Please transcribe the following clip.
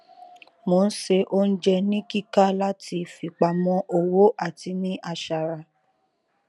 mo n se oúnjẹ ni kíkà láti fipamọ owó àti ní aṣara